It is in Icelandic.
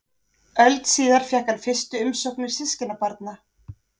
Öld síðar fékk hann fyrstu umsóknir systkinabarna.